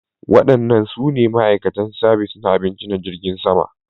Waɗannan su ne ma'aikatan sabis na abinci na jirgin sama